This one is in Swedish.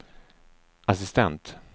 assistent